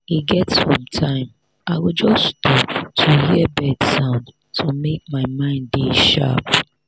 e get sometime i go just stop to hear bird sound to make my mind dey sharp.